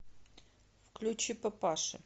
включи папаши